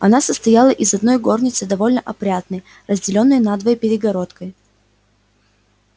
она состояла из одной горницы довольно опрятной разделённой надвое перегородкой